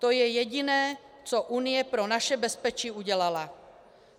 To je jediné, co Unie pro naše bezpečí udělala.